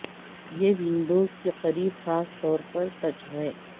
یہ ونڈوز کے قریب خاص طور پر سچ ہے